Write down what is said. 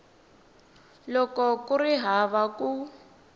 loko ku ri hava ku